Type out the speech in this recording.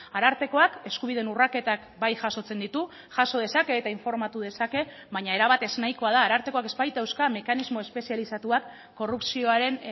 arartekoak eskubideen urraketak bai jasotzen ditu jaso dezake eta informatu dezake baina erabat ez nahikoa da arartekoak ez baitauzka mekanismo espezializatuak korrupzioaren